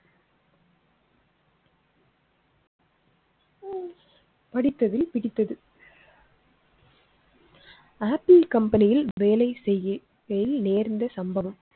படித்ததில் பிடித்தது. Apple company யில் வேலை செய்யகையில் நேர்ந்த சம்பவம்.